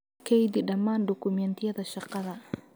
Keydi dhammaan dukumeentiyada shaqada